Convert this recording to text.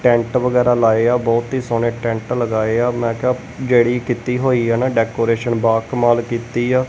Tent ਵਗੈਰਾ ਲਾਏ ਆ ਬਹੁਤ ਹੀ ਸੋਹਣੇ ਟੈਂਟ ਲਗਾਏ ਆ ਮੈ ਕਿਹਾ ਜਿਹੜੀ ਕੀਤੀ ਹੋਈ ਆ ਨਾ ਡੈਕੋਰੇਸ਼ਨ ਬੋਹਤ ਕਮਾਲ ਕੀਤੀ ਆ।